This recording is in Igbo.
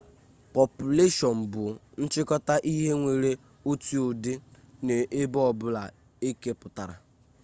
pọpụleshọn bụ nchịkọta ihe nwere otu ụdị n'ebe ọbụla ekepụtara